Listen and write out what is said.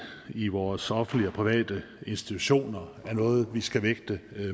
i vores offentlige og private institutioner er noget vi skal vægte